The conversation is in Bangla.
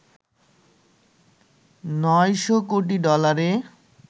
৯০০ কোটি ডলারে